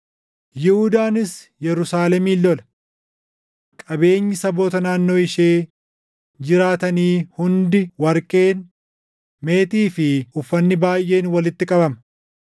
Yihuudaanis Yerusaalemin lola. Qabeenyi saboota naannoo ishee jiraatanii hundi warqeen, meetii fi uffanni baayʼeen walitti qabama.